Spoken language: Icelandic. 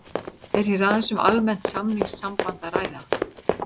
Er hér aðeins um almennt samningssamband að ræða.